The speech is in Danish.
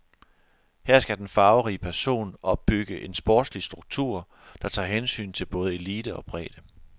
Her skal den farverige person opbygge en sportslig struktur, der tager hensyn til både elite og bredde.